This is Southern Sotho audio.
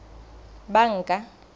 banka